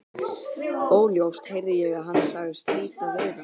Óljóst heyrði ég að hann sagðist heita Viðar.